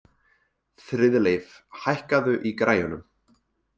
Friðleif, hækkaðu í græjunum.